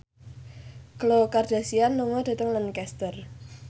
Khloe Kardashian lunga dhateng Lancaster